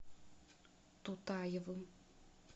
тутаевым